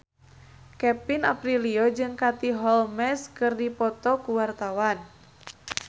Kevin Aprilio jeung Katie Holmes keur dipoto ku wartawan